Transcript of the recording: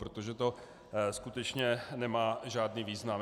Protože to skutečně nemá žádný význam.